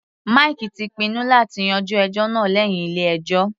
Mike ti pinnu láti yanjú ẹjọ́ náà lẹ́hìn ilé ẹjọ́.